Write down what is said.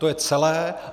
To je celé.